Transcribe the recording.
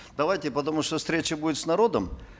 давайте потому что встреча будет с народом